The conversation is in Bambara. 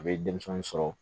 A bɛ denmisɛnnin sɔrɔ